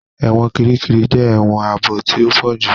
Ẹ̀wọ̀n Kirikiri jẹ èwòn ààbò tí o pojú